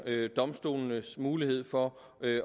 domstolenes mulighed for